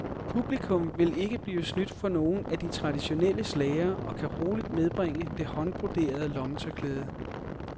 Publikum vil ikke blive snydt for nogen af de traditionelle slagere og kan roligt medbringe det håndbroderede lommetørklæde.